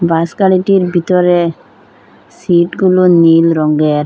বাসগাড়িটির ভিতরে সিটগুলো নীল রঙ্গের।